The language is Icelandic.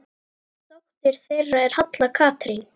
Dóttir þeirra er Halla Katrín.